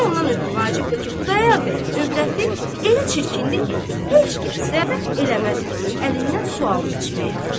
İkinci ondan ötrü vacibdir ki, Xudayar bəyə evrəti elə çirkindir ki, heç kəs rəğbət eləməz onun əlindən su alıb içməyə.